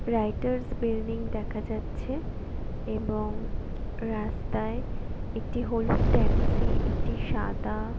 '' Writers' Building দেখা যাচ্ছে-এ এবং রাস্তায় একটি হলুদ ট্যাক্সি একটি সাদা-- ''